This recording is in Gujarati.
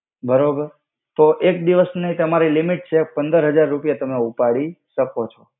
બરોબર તો એક દિવસ નિ તમારિ લિમિટ છે પંદર હજાર રુપિયા તમે ઉપાડી સકો છો.